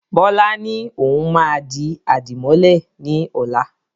Bọlá ni òun máa di àdìmọ́lẹ̀ ni ọ̀la.